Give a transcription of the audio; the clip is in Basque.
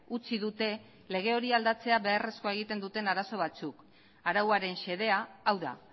utzi dute lege hori aldatzea beharrezkoa egiten duten arazo batzuk arauaren xedea hau da